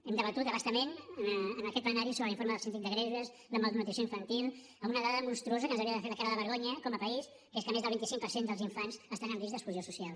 hem debatut a bastament en aquest plenari sobre l’informe del síndic de greuges de la malnutrició infantil amb una dada monstruosa que ens hauria de fer caure la cara de vergonya com a país que és que més del vint cinc per cent dels infants estan en risc d’exclusió social